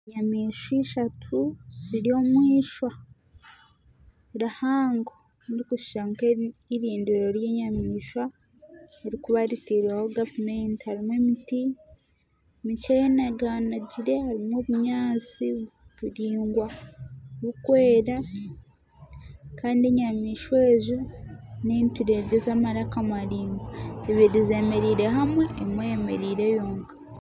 Enyamaishwa ishatu ziri omu eishwa rihango ririkushusha nk'erindiro ry'enyamaishwa eririkuba ritairweho gavumenti hariho emiti mikye yenaganagire harimu obunyaasi buraingwa burikwera. Kandi enyamaishwa ezo, n'enturegye z'amaraka maraingwa ibiri zemereire hamwe emwe eyemereire yonka.